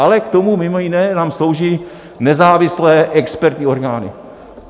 Ale k tomu mimo jiné nám slouží nezávislé expertní orgány.